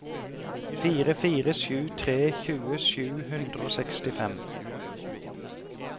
fire fire sju tre tjue sju hundre og sekstifem